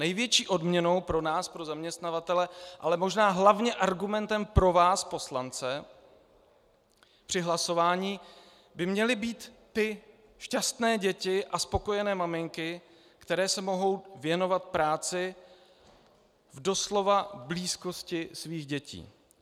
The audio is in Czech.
Největší odměnou pro nás, pro zaměstnavatele, ale možná hlavně argumentem pro vás poslance při hlasování by měly být ty šťastné děti a spokojené maminky, které se mohou věnovat práci v doslova blízkosti svých dětí.